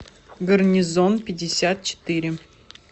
гарнизонпятьдесятчетыре